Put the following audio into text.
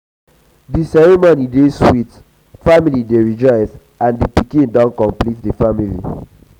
the ceremony dey sweet family dey rejoice as di pikin don complete the family.